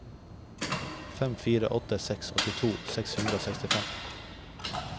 fem fire åtte seks åttito seks hundre og sekstifem